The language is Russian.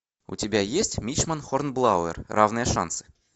у тебя есть мичман хорнблауэр равные шансы